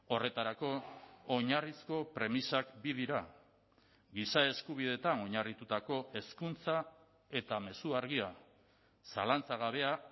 horretarako oinarrizko premisak bi dira giza eskubideetan oinarritutako hezkuntza eta mezu argia zalantzagabea